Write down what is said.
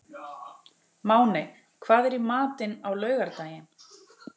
Máney, hvað er í matinn á laugardaginn?